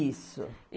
Isso.